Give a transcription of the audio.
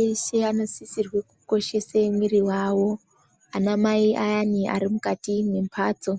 Eshe anosisirwa kukoshese muiri wawo. Anamai ayani Ari mukati membatso